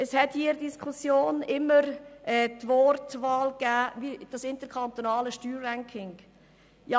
Es waren in dieser Diskussion immer wieder Voten zum interkantonalen Steuerranking zu hören.